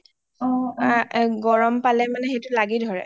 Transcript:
গৰম পালে মানে সেইটো লাগি ধৰে